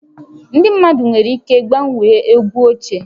Ndị mmadụ nwere ike gbanwee egwu ochie